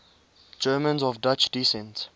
germans of dutch descent